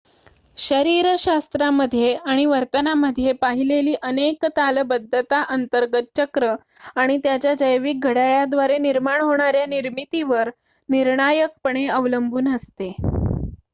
शरीरशास्त्रामध्ये आणि वर्तनामध्ये पाहिलेली अनेक तालबद्धता अंतर्गत चक्र आणि त्याच्या जैविक घड्याळाद्वारे होणाऱ्या निर्मितीवर निर्णायकपणे अवलंबून असते